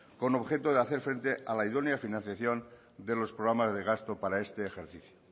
con objeto de hacer frente a la idónea financiación de los programas de gasto para este ejercicio